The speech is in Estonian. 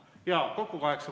Jaa, kokku kaheksa.